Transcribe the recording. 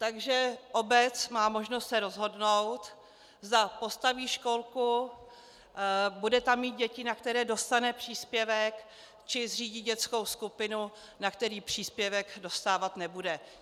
Takže obec má možnost se rozhodnout, zda postaví školku, bude tam mít děti, na které dostane příspěvek, či zřídí dětskou skupinu, na který příspěvek dostávat nebude.